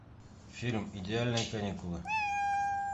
фильм идеальные каникулы